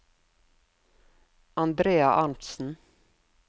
Andrea Arntzen